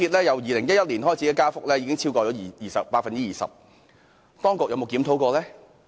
由2011年至今，港鐵票價已增加超過 20%， 當局曾否進行檢討呢？